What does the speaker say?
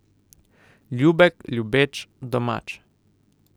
Ljubek, ljubeč, domač.